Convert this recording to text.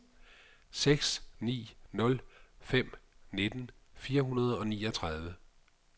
seks ni nul fem nitten fire hundrede og niogtredive